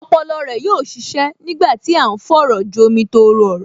Ọpọlọ rẹ yóò ṣiṣẹ́ nígbà tí à ń fọ̀rọ̀jomi-tooro-ọ̀rọ̀